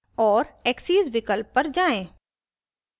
और axes विकल्प तक जाएँ